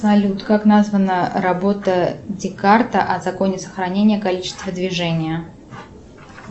салют как названа работа декарта о законе сохранения количества движения